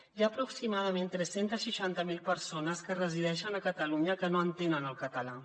hi ha aproximadament tres cents i seixanta miler persones que resideixen a catalunya que no entenen el català